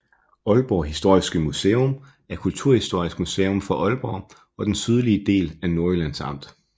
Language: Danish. Aalborg Historiske Museum er kulturhistorisk museum for Aalborg og den sydlige del af Nordjyllands Amt